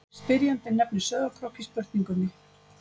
Spyrjandi nefnir Sauðárkrók í spurningunni.